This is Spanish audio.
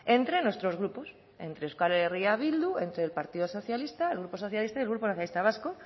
entre nuestros grupos entre euskal herria bildu entre el partido socialista el grupo socialista y el grupo nacionalista vasco